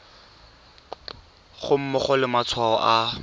ga mmogo le matshwao a